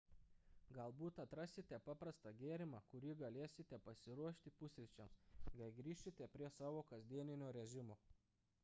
galbūt atrasite paprastą gėrimą kurį galėsite pasiruošti pusryčiams kai grįšite prie savo kasdienio režimo